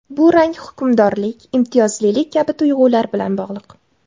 Bu rang hukmdorlik, imtiyozlilik kabi tuyg‘ular bilan bog‘liq.